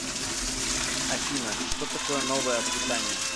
афина что такое новая аквитания